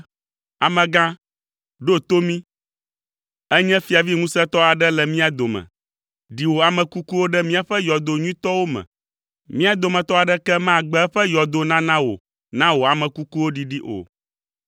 “Amegã, ɖo to mí. Ènye fiavi ŋusẽtɔ aɖe le mía dome. Ɖi wò ame kukuwo ɖe míaƒe yɔdo nyuitɔwo me. Mía dometɔ aɖeke magbe eƒe yɔdo nana wò na wò ame kukuwo ɖiɖi o.”